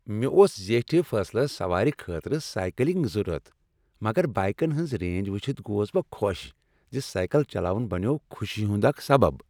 مےٚ اوس زیٹھِ فاصلس سوارِ خٲطرٕ سایکک ضرورت تہٕ بایکن ہٕنز رینج وٕچتھ گوس بہٕ خوش زِ سایکل چلاون بنیوو خوشی ہُند اکھ سبب۔